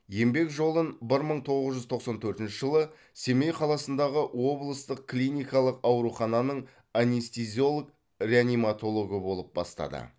еңбек жолын бір мың тоғыз жүз тоқсан төртінші жылы семей қаласындағы облыстық клиникалық аурухананың анестезиолог реаниматологы болып бастады